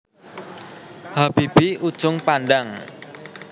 Habibie Ujung Pandang